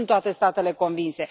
Nu sunt toate statele convinse.